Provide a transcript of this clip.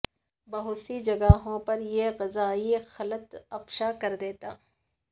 بہت سی جگہوں پر یہ غذائی قلت افشا کر دیتا